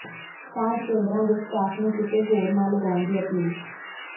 ਸਾਂਝ ਕੇਂਦਰਾਂ ਦੇ ਸਟਾਫ਼ ਨੂੰ ਕਿਤੇ ਹੋਰ ਨਾ ਲਗਾਉਣ ਦੀ ਅਪੀਲ